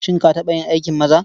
Shin ka taɓa yin aikin maza?